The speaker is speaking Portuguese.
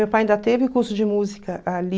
Meu pai ainda teve curso de música ali.